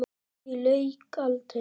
Því lauk aldrei.